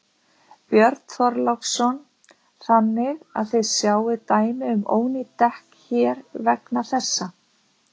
Björn Þorláksson: Þannig að þið sjáið dæmi um ónýt dekk hér vegna þessa?